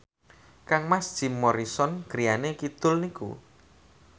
kangmas Jim Morrison griyane kidul niku